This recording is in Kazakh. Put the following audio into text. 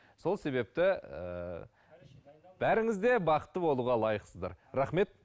сол себепті ііі бәріңіз де бақытты болуға лайықсыздар рахмет